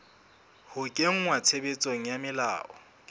ho kenngwa tshebetsong ha melao